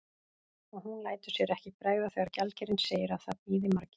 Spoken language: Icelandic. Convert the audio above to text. Og hún lætur sér ekki bregða þegar gjaldkerinn segir að það bíði margir.